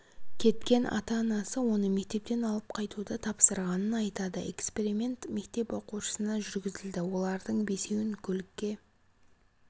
кеткен ата-анасы оны мектептен алып қайтуды тапсырғанын айтады эксперимент мектеп оқушысына жүргізілді олардың бесеуін көлікке